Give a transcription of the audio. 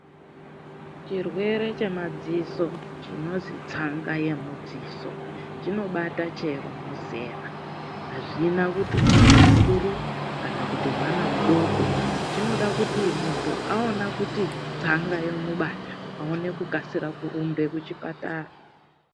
CHIRWERE CHEMADZISO CHINONZI TSANGA YEMUDZISO CHINOBATA CHERO muzera AZVINA KUTI MUNTU MUKURU KANA KUTI MWANA MUDOKO CHINODA KUTI MUNTU AONA Kuti TSANGA YAMUBATA AONE KUMHANYA KUCHIPATARA